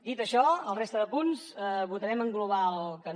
dit això a la resta de punts votarem en global que no